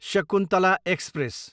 Shakuntala express